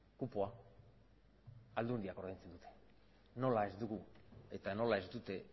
kupoa aldundiak ordaintzen dute nola ez dugu eta nola ez dute